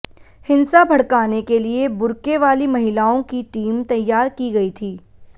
हिंसा भड़काने के लिए बुर्के वाली महिलाओं की टीम तैयार की गई थी